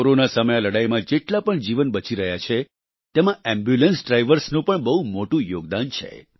corona સામે આ લડાઈમાં જેટલા પણ જીવન બચી રહ્યા છે તેમાં એમ્બ્યુલન્સ ડ્રાઈવર્સનું પણ બહુ મોટું યોગદાન છે